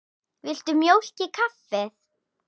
Viltu mjólk í kaffið?